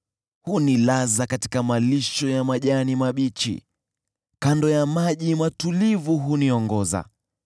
Hunilaza katika malisho ya majani mabichi, kando ya maji matulivu huniongoza,